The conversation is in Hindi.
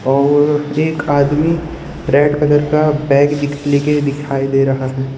और एक आदमी रेड कलर का बैग लेके दिखाई दे रहा है।